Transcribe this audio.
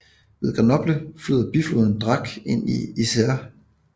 Ved Grenoble flyder bifloden Drac ind i Isére